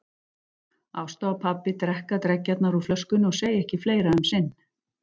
Ásta og pabbi drekka dreggjarnar úr flöskunni og segja ekki fleira um sinn.